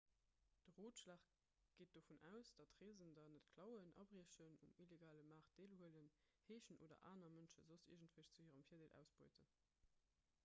de rotschlag geet dovun aus datt reesender net klauen abriechen um illegale maart deelhuelen heeschen oder aner mënsche soss iergendwéi zu hirem virdeel ausbeuten